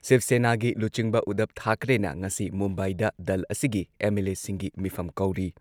ꯁꯤꯕ ꯁꯦꯅꯥꯒꯤ ꯂꯨꯆꯤꯡꯕ ꯎꯙꯕ ꯊꯥꯀ꯭ꯔꯦꯅ ꯉꯁꯤ ꯃꯨꯝꯕꯥꯏꯗ ꯗꯜ ꯑꯁꯤꯒꯤ ꯑꯦꯝ.ꯑꯦꯜ.ꯑꯦꯁꯤꯡꯒꯤ ꯃꯤꯐꯝ ꯀꯧꯔꯤ ꯫